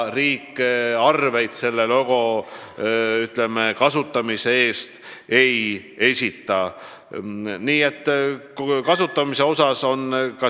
Riik arveid selle logo kasutamise eest ei esita.